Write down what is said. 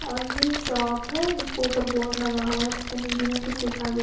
और ये शॉप है जिसको ऊपर बोर्ड लगा हुआ है जिसमें हिंदी में कुछ लिखा गया --